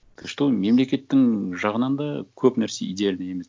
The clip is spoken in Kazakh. ты что мемлекеттің жағынан да көп нәрсе идеальный емес